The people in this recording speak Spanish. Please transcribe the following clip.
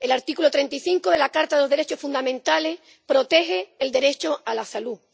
El artículo 35 de la Carta de los Derechos Fundamentales protege el derecho a la salud.